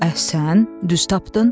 Əhsən, düz tapdın?